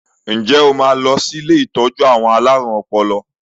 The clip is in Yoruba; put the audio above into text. Ǹjẹ́ o máa sì lọ sí ilé ìtọ́jú àwọn alárùn ọpọlọ?